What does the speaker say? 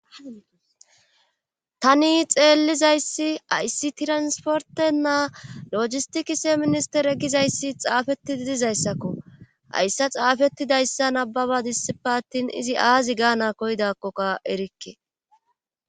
Tani xeellizayssi ayssi tiransportennaa lojisti kise ministere gizayssi xaafetti dizayssakko ayssa xaafettidayssa nababa dissipe attin izi aazi gaana koydakkokka erikke.